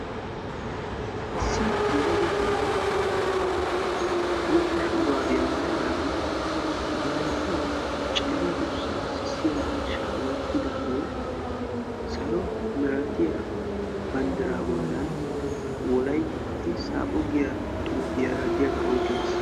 issi yelaga na'ay bootta shuuraabiyaa maayadaagee ba hayttan cenggurssaa sissiya miishshaa woottidaagee salo miratiya banddiraa bollan wolaytti saapho giya xuufiyaara diyaagaa oyqqi uttiis